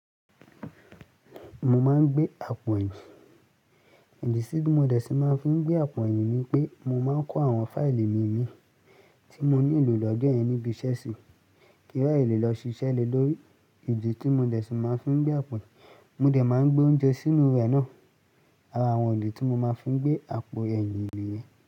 Mo máa ń gbé àpò ẹ̀yìn. Ìdí tí mo dẹ̀ ṣe máa ń fí gbé àpò ẹ̀yìn ni pé mo máa ń kó àwọn fáìlì mí mí tí mo nílò lọ́jọ́ yen nibí iṣẹ́ sí kí ra ye lè lọ ṣiṣẹ́ le lórí. Ìdí tí mo dẹ̀ ṣe máa ń fí gbé àpò ẹ̀yìn, mo dẹ̀ máa ń gbé oúnjẹ sínú rẹ̀ náà. Ara àwọn ìdí tí mo máa ń fí gbé àpò ẹ̀yìn ni èyí.